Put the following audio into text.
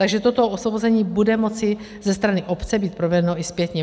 Takže toto osvobození bude moci ze strany obce být provedeno i zpětně.